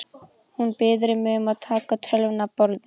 Hún biður mig um að taka tölvuna af borðinu.